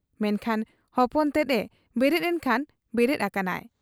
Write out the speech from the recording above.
ᱢᱮᱱᱠᱷᱟᱱ ᱦᱚᱯᱚᱱ ᱛᱮᱫ ᱮ ᱵᱮᱨᱮᱫ ᱮᱱᱠᱷᱟᱱ ᱵᱮᱨᱮᱫ ᱟᱠᱟᱱᱟᱭ ᱾